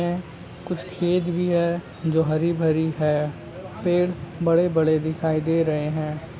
ये कुछ खेत भी है जो हरी भरी है पेड़ बड़े बड़े दिखाई दे रहे है।